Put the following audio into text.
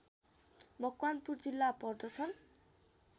मकवानपुर जिल्ला पर्दछन्